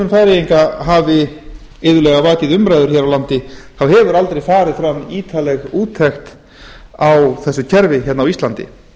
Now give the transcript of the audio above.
færeyinga hafi iðulega vakið umræður hér á landi hefur aldrei farið fram ítarleg úttekt á þessu kerfi á íslandi